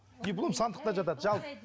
диплом сандықта жатады